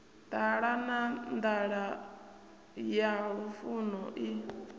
ṱalana nḓala ya lufuno i